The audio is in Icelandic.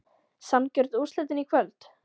Sanngjörn úrslitin í kvöld?